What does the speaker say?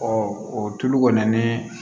o tulu kɔni ni